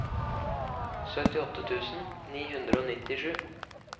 syttiåtte tusen ni hundre og nittisju